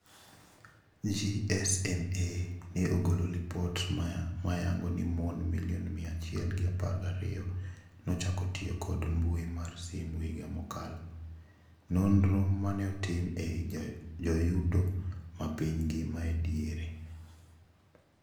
GSMA ne ogolo lipot mayango ni mon milion mia achiel gi apar gario nochako tio kod mbui mar simu higa mokalo. Nonr maneotim ei joyuto mapiny gi mae diere.